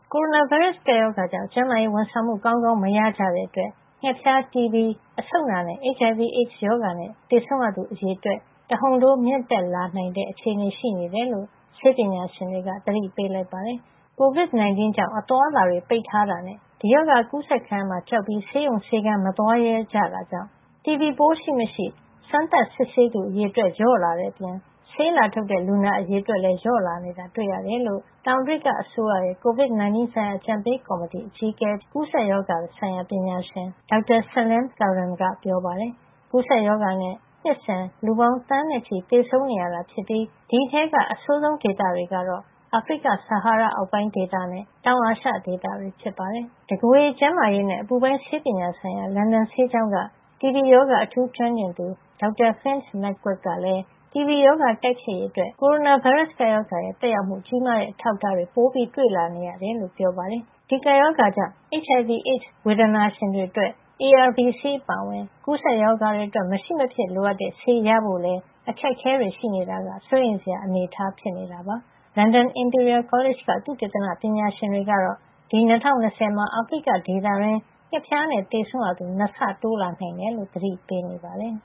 ကိုရိုနာဗိုင်းရပ်စ် ကပ်ရောဂါကြောင့် ကျန်းမာရေးဝန်ဆောင်မှု ကောင်းကောင်းမရကြတဲ့အတွက် ငှက်ဖျား၊ တီဘီ အဆုတ်နာနဲ့ HIV - AIDS ရောဂါ နဲ့ သေဆုံးရသူ အရေအတွက် တဟုန်ထိုးမြင့်တက်လာနိုင်တဲ့ အခြေအနေရှိနေတယ်လို့ ဆေးပညာရှင်တွေက သတိပေးလိုက်ပါတယ်။ ကိုဗစ် ၁၉ ကြောင့်အသွားအလာတွေ ပိတ်ထားထာနဲ့ ဒီရောဂါ အကူးစက်ခံရမှာကို ကြောက်ပြီး ဆေးရုံ ဆေးခန်းတွေကို မသွားရဲကြတာကြောင့် တီဘီပိုး ရှိမရှိ စမ်းသပ်စစ်ဆေးသူ အရေအတွက်လျော့နဲလာတဲ့အပြင် ဆေးလာထုတ်တဲ့ လူနာ အရေအတွက်လဲ လျော့နည်းလာတာ တွေ့ရတယ်လို့ တောင်အာဖရိက အစိုးရရဲ့ ကိုဗစ် ၁၉ ဆိုင်ရာအကြံပေးကော်မတီအကြီးအကဲ ဖြစ်တဲ့ ကူးစက်ရောဂါဆိုင်ရာပညာရှင် Dr. Salim S. Abdool Karim ကပြောပါတယ်။ ကူးစက်ရောဂါနဲ့ နှစ်စဉ် လူပေါင်း သန်းချီသေဆုံးနေရတာဖြစ်ပြီး ဒီအထဲက အဆိုးဆုံးဒေသတွေကတော့ အာဖရိက ဆဟာရဒေသအောက်ပိုင်းနဲ့ တောင်အာရှ ဒေသတွေ ဖြစ်ပါတယ်။ တကိုယ်ရေကျန်းမာရေးနဲ့ အပူပိုင်းဆေးပညာဆိုင်ရာ လန်ဒန်ဆေးကျောင်းက တီဘီရောဂါ အထူးကျွမ်းကျင်သူ Dr. Finn McQuaid ကလည်း တီဘီရောဂါတိုက်ဖျက်ရေး အတွက် ကိုရိုနာဗိုင်းရပ်စ် ကပ်ရောဂါရဲ့ သက်ရောက်မှုကြီးမား တဲ့အထောက်အထားတွေ ပိုပြီး တွေ့လာနေရတယ်လို့ ပြောပါတယ်။ ဒီကပ်ရောဂါကြောင့် HIV – AIDS ဝေဒနာရှင်တွေ အတွက် ARV ဆေးအပါအဝင် ကူးစက်ရောဂါတွေ အတွက် မရှိမဖြစ် လိုအပ်တဲ့ ဆေးရဖို့လည်း အခက်အခဲတွေ ရှိနေတာက စိုးရိမ်စရာ အနေထား ဖြစ်နေတာပါ။ လန်ဒန် Imperial College က သုတေသနပညာရှင်တွေ ကတော့ ဒီ ၂၀၂၀ မှာ အာဖရိက ဒေသတွင်း ငှက်ဖျားနဲ့ သေဆုံးရသူ ၂ ဆ တိုးလာနိုင်တယ်လို့ သတိပေးနေပါတယ်